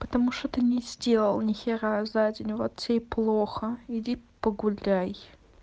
потому что ты не сделал ни хера за день вот тебе и плохо иди погуляй